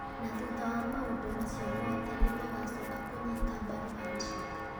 na thutha wa maũndũ macio mothe nĩ magaacoka kũnyita mbaru handshake.